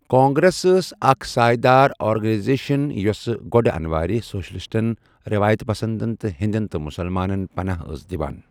کانگریس ٲس اکھ سایہِ دار آرگنایزیشن یۅس گۅڈٕ انوارِ سوشلِسٹن، رٮ۪وایت پسندن تہٕ ہیٚندٮ۪ن تہٕ مُسلمانن پناہ ٲس دِوان۔